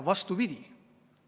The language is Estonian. Vastupidi!